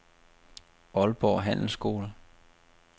Aalborg Handelsskole